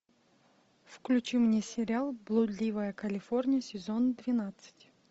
включи мне сериал блудливая калифорния сезон двенадцать